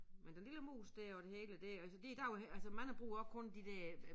Men den lille mus det jo det hele det altså det der jo altså mange bruger også kun de der øh